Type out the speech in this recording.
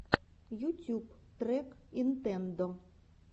ютюб трек нинтендо